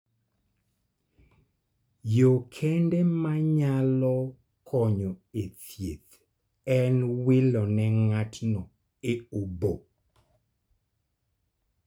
Yo kende ma nyalo konyo e thieth en wilo ne ng�ato e obo.